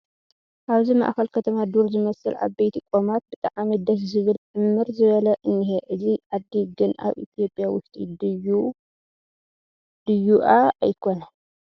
ኣብዚ ማእኸል ከተማ ዱር ዝመስል ዓበይቲ ቆማት ብጣዕሚ ደስ ዝብል ዕምር ዝበለ እንሄ ፡ እዚ ዓዲ ግን ኣብ ኢ/ያ ውሽጢ ድዩእ ኣይኮነን ?